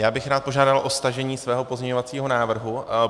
Já bych rád požádal o stažení svého pozměňovacího návrhu.